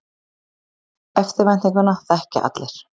Eftirvæntinguna þekkja allir.